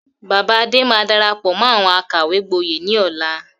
Bàbá Adé máa darapọ̀ mọ́ àwọn àkàwé gboyè ni ọ̀la.